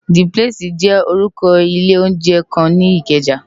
D plési jè órùkò ilé óunjè kán ni Ikeja